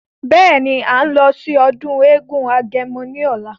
Beeni, à ń lọ sí ọdún eégún agẹmọ ní ọ̀la.